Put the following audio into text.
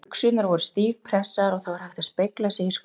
Buxurnar voru stífpressaðar og það var hægt að spegla sig í skónum.